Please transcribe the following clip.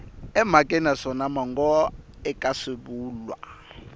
emhakeni naswona mongo eka swivulwa